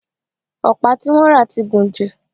ọ̀pá tí wọ́n rà ti gùn jù